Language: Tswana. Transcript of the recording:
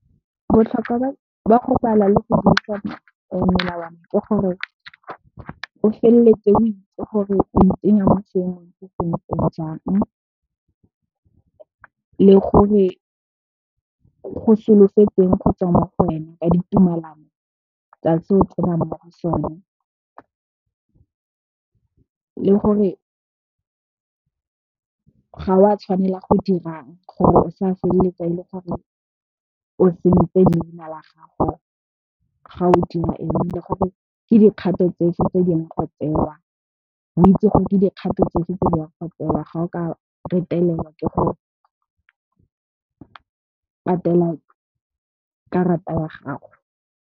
Botlhokwa ba go bala le go buisa melawana ke gore o feleletse o itse gore o itsenya mo seemong se sentseng jang le gore go solofetsweng gotswa mo go wena ka ditumelano tsa se o tsenang mo go sone. Le gore ga o a tshwanela go dirang gore o sa feleletsa e le gore o sentse leina la gago ga o dira ebile, gore ke dikgato tse feng tse ileng go tsewa, o itse gore ke dikgato tsefeng tse ya go tsewa ga o ka retelelwa ke go patela karata ya gago.